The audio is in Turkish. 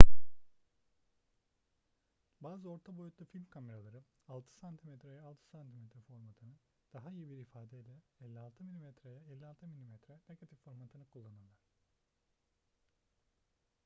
bazı orta boyutlu film kameraları 6 cm'ye 6 cm formatını daha iyi bir ifadeyle 56' mm'ye 56 mm negatif formatını kullanırlar